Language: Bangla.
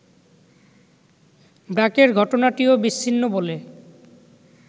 ব্র্যাকের ঘটনাটিও বিচ্ছিন্ন বলে